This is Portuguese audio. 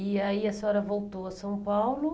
E aí a senhora voltou a São Paulo.